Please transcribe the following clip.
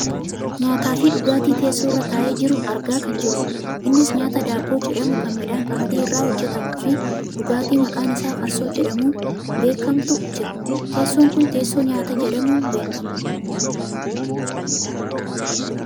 nyaataafi dhugaatii teessoo irra taa'ee jiru argaa kan jirrudha. innis nyaata daabboo jedhamu kan midhaan qamadii irraa hojjatamuufi dhugaatii maqaan isaa farsoo jedhamuun beekkamutu jira. teessoon kun teessoo nyaataa jedhamuun beekkama.